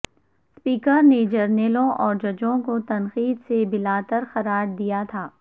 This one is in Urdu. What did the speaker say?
سپییکر نے جرنیلوں اور ججوں کو تنقید سے بالا تر قرار دیا تھا